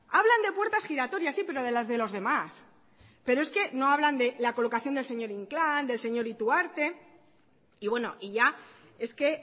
hablan de puertas giratorias sí pero de las de los demás pero es que no hablan de la colocación del señor inclán del señor ituarte y bueno y ya es que